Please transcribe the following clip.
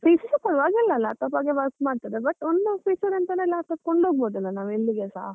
PC ಸ ಪರವಾಗಿಲ್ಲ ಅಲ್ಲಾ laptop ಹಾಗೆ work ಮಾಡ್ತದೆ but ಒಂದು feature ಎಂತ ಅಂದ್ರೆ laptop ಕೊಂಡೋಗಬಹುದಲ್ವಾ ನಾವು ಎಲ್ಲಿಗೆಸ.